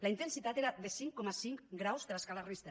la intensitat era de cinc coma cinc graus de l’escala richter